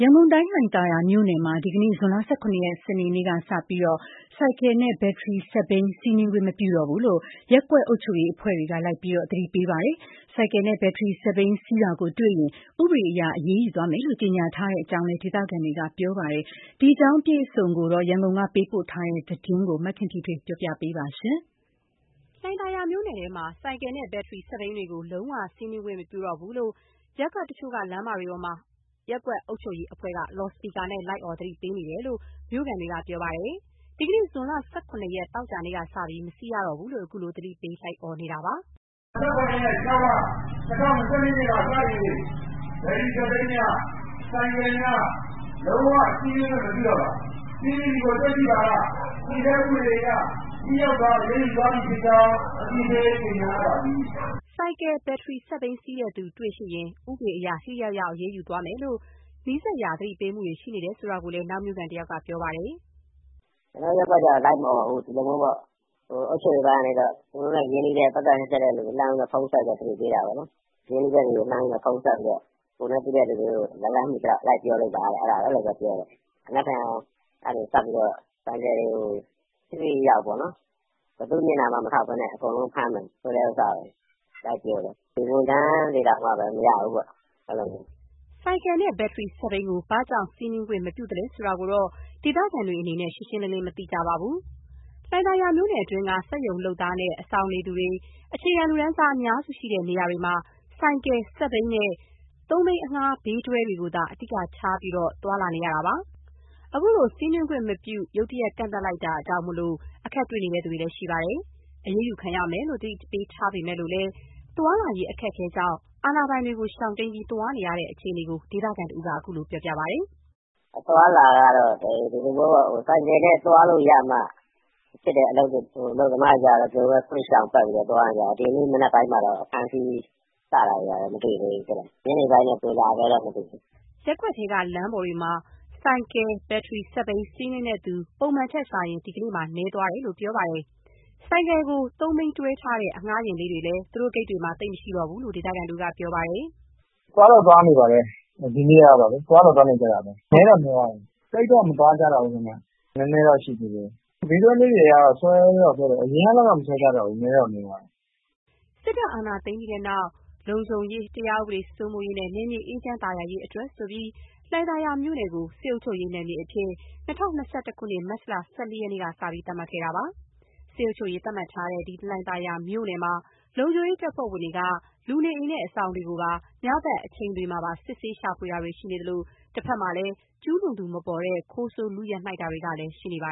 ရန်ကုန်တိုင်း၊ လှိုင်သာယာမြို့နယ်မှာ ဒီနေ့ ဇွန်လ ၁၇ ရက် သောကြာနေ့ကစပြီး ဆိုင် ကယ်နဲ့ ဘက်ထရီစက်ဘီး စီးနင်းခွင့်မပြုတော့ဘူးလို့ ရပ်ကွက်အုပ်ချုပ်ရေးအဖွဲ့တွေက လိုက်လံသတိပေးနေပါတယ်။ ဆိုင်ကယ်နဲ့ ဘက်ထရီစက်ဘီး စီးနင်းတာကို တွေ့ရှိရင်လည်း ဥပဒေအရ အရေးယူသွားမယ်လို့ ကြေညာထားတဲ့အကြောင်း ဒေသခံတွေကပြောပါတယ်။ ဒီအကြောင်း ရန်ကုန်ကပေးပို့ထားတဲ့ သတင်းကို မခင်ဖြူထွေးက တင်ပြပေးထားပါတယ်။ လှိုင်သာယာမြို့နယ်ထဲမှာ ဆိုင်ကယ်နဲ့ ဘက်ထရီစက်ဘီးတွေကို လုံးဝစီးနင်းခွင့်မပြုတော့ဘူးလို့ ရပ်ကွက်တချို့က လမ်းပေါ်တွေမှာ ရပ်ကွက်အုပ်ချုပ်ရေးအဖွဲ့က လော်စပီကာနဲ့လိုက်အော် သတိပေးနေတယ်လို့ မြို့ခံတွေက ပြောပါတယ်။ ဒီနေ့ ဇွန်လ ၁၇ ရက်၊ သောကြာနေ့ကစပြီး မစီးရတော့ဘူးလို့ အခုလို သတိပေး လိုက်အော်နေတာပါ။ "၁၇ ရက် ၊ ၆ လ ၊ ၂၀၂၂ ခုနှစ်မှ စတင် ဘက်ထရီစက်ဘီးများ၊ ဆိုင်ကယ်များ လုံးဝစီးနင်းခွင့်မပြုတော့ပါ။ စီးနင်းသည်ကို တွေ့ရှိပါက တည်ဆဲဥပဒေအရ ထိရောက်စွာအရေးယူသွားမည် ဖြစ်ကြောင်း အသိပေးကြေညာအပ်ပါသည်။" ဆိုင်ကယ်၊ ဘက်ထရီစက်ဘီး စီးတဲ့သူတွေ့ရှိရင် ဥပဒေအရ ထိထိရောက်ရောက် အရေးယူသွားမယ်လို့ နီးစပ်ရာ သတိပေးမှုတွေ ရှိနေတယ်လို့လည်း နောက်မြို့ခံတယောက်က ပြောပါတယ်။ "ကျနော်တို့ရပ်ကွက်ကျတော့ လိုက်မအော်ဘူး။ အုပ်ချုပ်ရေးပိုင်းက သူတို့နဲ့ ရင်းနှီးတဲ့သူ၊ ပတ်သက်တဲ့သူတွေကို ဖုန်းဆက်ပြီးတော့ သတိပေးတာပေါ့နော်။ ရင်းနှီးတဲ့သူတွေကို ဖုန်းဆက်ပြီးတော့ ကိုယ်နဲ့သိတဲ့လူတွေကို လက်လှမ်းမီသလောက် လိုက်ပြောလိုက်ပါပေါ့။ မနက်ဖြန်ကနေ စပြီးတော့ ဆိုင်ကယ်တွေကို ထိထိရောက်ရောက်ပေါ့နော် ဘယ်သူ့မျက်နှာမှ မထောက်ဘဲနဲ့ အကုန်လုံးကိုဖမ်းမယ်ဆိုတာကို လိုက်ပြောတယ်။ ဝန်ထမ်းတွေတောင်မှ မရဘူးပေါ့၊ အဲလိုမျိုး။" ဆိုင်ကယ်နဲ့ ဘက်ထရီစက်ဘီးကို ဘာကြောင့်စီးနင်းခွင့် မပြုသလဲဆိုတာကိုတော့ ဒေသခံတွေအနေနဲ့ ရှင်းရှင်းလင်းလင်း မသိကြပါဘူး။ လှိုင်သာယာမြို့နယ်တွင်းက စက်ရုံလုပ်သားနဲ့ အဆောင်နေသူတွေ၊ အခြေခံလူတန်းစား အများစုရှိတဲ့ နေရာတွေမှာ ဆိုင်ကယ်၊ စက်ဘီးနဲ့ သုံးဘီးအငှားဘေးတွဲတွေကိုသာ အဓိကအားထားပြီး သွားလာနေရတာပါ။ အခုလို စီးနင်းခွင့်မပြုတာ ရုတ်တရက်ကန့်သတ်လိုက်လို့ အခက်တွေ့နေသူတွေလည်း ရှိနေပါတယ်။ အရေးယူခံရမယ်လို့ သတိပေးထားပေမယ့်လည်း သွားလာရေးအခက်အခဲကြောင့် အာဏာပိုင်တွေကို ရှောင်တိမ်းပြီး သွားနေရတဲ့အခြေအနေကို ဒေသခံတဦးက အခုလိုပြောပါတယ်။ "အသွားအလာကတော့ ဆိုင်ကယ်နဲ့သွားလို့ရမှဖြစ်တဲ့ အလုပ်သမားတွေကျတော့လည်း ဒီလိုပဲ ကွေ့ရှောင်ပတ်ပြီးတော့ သွားနေရတာ။ ဒီနေ့မနက်ပိုင်းမှာတော့ အဖမ်းအစီး စတာတွေတော့ မတွေ့သေးဘူး။ ညနေပိုင်းတော့ ဘယ်လိုလာမလဲတော့ မသိဘူး။" ရပ်ကွက်ထဲက လမ်းပေါ်တွေမှာ ဆိုင်ကယ်၊ ဘက်ထရီစက်ဘီး စီးနင်းသူ ပုံမှန်ထက်စာရင် ဒီနေ့မှာတော့ နည်းသွားတယ်လို့ ပြောပါတယ်။ ဆိုင်ကယ်ကို သုံးဘီးတွဲထားတဲ့ အငှားယာဉ်လေးတွေလည်း သူတို့ဂိတ်တွေမှာ သိပ်မရှိဘူးလို့ ဒေသခံတဦးက ပြောပါတယ်။ "ဒီနေ့ကတော့ သွားတော့သွားနေကြတာပဲ။ နည်းတော့ နည်းသွားတယ်။ သိပ်တော့မသွားကြတော့ဘူး ခင်ဗျ။ နည်းနည်းတော့ရှိသေးတယ်။ သုံးဘီးအငှား ဘေးတွဲလေးတွေကတော့ အရင်ကလောက် မဆွဲကြတော့ဘူး။ နည်းတော့နည်းသွားတယ်။" စစ်တပ်အာဏာသိမ်းပြီးနောက် လုံခြုံရေး၊ တရားဥပဒေ စိုးမိုးရေးနဲ့ နယ်မြေအေးချမ်းသာယာရေးအတွက်ဆိုပြီး လှိုင်သာယာမြို့နယ်ကို စစ်အုပ်ချုပ်ရေးနယ်မြေအဖြစ် ၂၀၂၁ ခုနှစ်၊ မတ်လ ၁၄ ရက်နေ့ကစပြီး သတ်မှတ်ခဲ့တာပါ။ စစ်အုပ်ချုပ်ရေး သတ်မှတ်ထားတဲ့ လှိုင်သာယာမြို့နယ်မှာ လုံခြုံရေးတပ်ဖွဲ့ဝင်တွေက လူနေအိမ်နဲ့ အဆောင်တွေကို ညဘက်အချိန်တွေမှာပါ စစ်ဆေးရှာဖွေတာတွေ ရှိနေသလို၊ တဘက်မှာလည်း ကျူးလွန်သူမပေါ်တဲ့ ခိုးဆိုးလုနှိုက်တာတွေကလည်း ရှိနေပါ